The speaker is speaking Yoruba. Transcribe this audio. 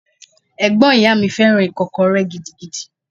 Ẹ̀gbọ́n ìyá mi fẹ́ràn Ìkọ́kọrẹ́ gidigidi.